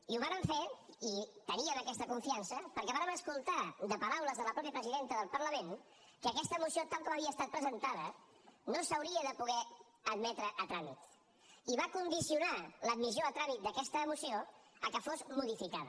i ho vàrem fer i teníem aquesta confiança perquè vàrem escoltar de paraules de la mateixa presidenta del parlament que aquesta moció tal com havia estat presentada no s’hauria de poder admetre a tràmit i va condicionar l’admissió a tràmit d’aquesta moció al fet que fos modificada